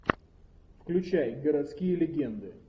включай городские легенды